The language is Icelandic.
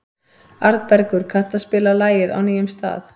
Arnbergur, kanntu að spila lagið „Á nýjum stað“?